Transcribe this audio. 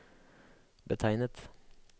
betegnet